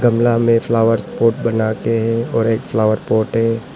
गमला में flower pot बनाके हैं और एक फ्लावर पॉट है।